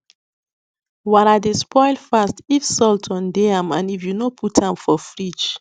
wara dey spoil fast if salt on dey am and if you no put am for fridge